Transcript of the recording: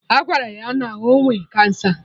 Agwara ya na ọ nwe cancer